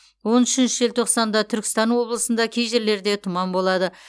он үшінші желтоқсанда түркістан облысында кей жерлерде тұман болады